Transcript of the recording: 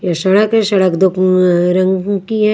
ये सडक है सड़क दो रंग कि है।